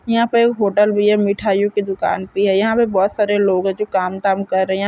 यहाँ पे होटल भी है मिठाइयों की दुकान भी है यहाँ पे बहोत सारे लोग है जो काम धाम कर रहे हैं।